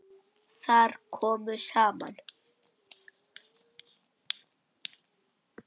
Þar komu saman